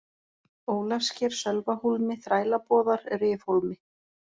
Ólafssker, Sölvahólmi, Þrælaboðar, Rifhólmi